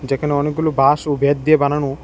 যেখানে অনেকগুলো বাঁশ ও বেত দিয়ে বানানো।